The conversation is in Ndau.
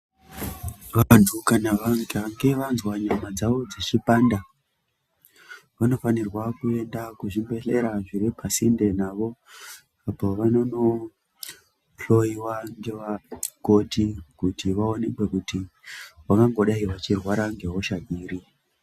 Vantu kana vakange vazwa nyama dzawo dzichipanda vanofanirwa kuenda kuzvibhedhlera zviri pasinde navo apo vanonohloiwa ngevakoti kuti vaonekwe kuti vangangodai vachirwara ngehosha dziri.